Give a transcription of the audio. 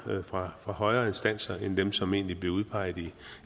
fra højere instanser end dem som egentlig blev udpeget